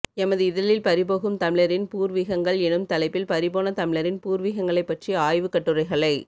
எமது இதழில் பறிபோகும் தமிழரின் பூர்வீகங்கள் எனும் தலைப்பில் பறிபோன தமிழரின் பூர்வீகங்களை பற்றி ஆய்வு கட்டுரைகளை